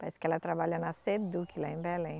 Parece que ela trabalha na Seduc lá em Belém.